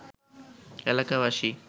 এলাকাবাসী